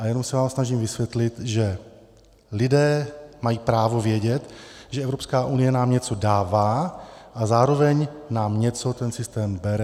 A jenom se vám snažím vysvětlit, že lidé mají právo vědět, že Evropská unie nám něco dává a zároveň nám něco ten systém bere.